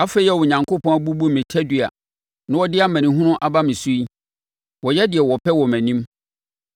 Afei a Onyankopɔn abubu me tadua na ɔde amanehunu aba me so yi, wɔyɛ deɛ wɔpɛ wɔ mʼanim.